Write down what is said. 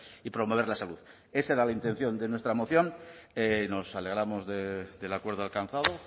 y promover la salud esa era la intención de nuestra moción nos alegramos del acuerdo alcanzado